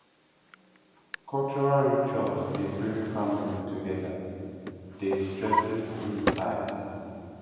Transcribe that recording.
cultural rituals dey bring family together dey strengthen new ties